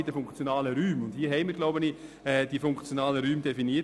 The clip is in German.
Mit SARZ haben wir, glaube ich, die funktionalen Räume definiert.